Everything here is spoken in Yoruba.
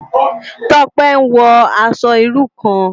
Tope n wò aṣò irú kán